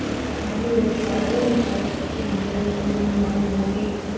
இது பாத்தீங்கனா இது ஒரு காடு இந்த காட சுத்தி வந்து செடிங்க மரம் எல்லாமே இருக்கு.